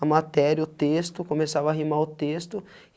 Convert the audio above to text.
a matéria, o texto, começava a rimar o texto.